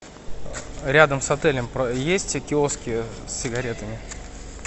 рядом с отелем есть киоски с сигаретами